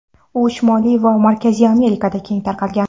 U Shimoliy va Markaziy Amerikada keng tarqalgan.